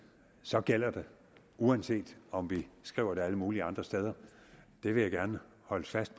så gælder det uanset om vi skriver det alle mulige andre steder det vil jeg gerne holde fast